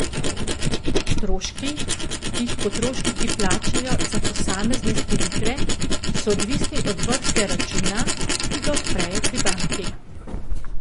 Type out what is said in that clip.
Stroški, ki jih potrošniki plačajo za posamezne storitve, so odvisni od vrste računa, ki ga odprejo pri banki.